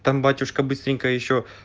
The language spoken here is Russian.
там батюшка быстренько ещё